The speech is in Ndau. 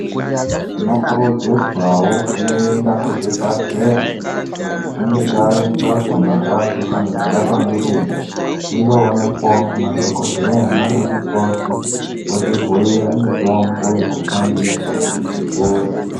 Tinokurudzirawo kuenda kuzvibhadhleya kana tichinge tazwa marwadzo kana kubatwa ngedenda tindoonekwawo ngemadhokodheya nana mukoti votibhuira mitombo yekushandisa kuti tipore.